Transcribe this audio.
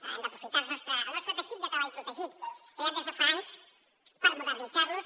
hem d’aprofitar el nostre teixit de treball protegit creat des de fa anys per modernitzar los